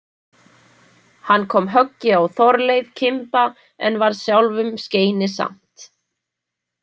Hann kom höggi á Þorleif kimba en varð sjálfum skeinisamt.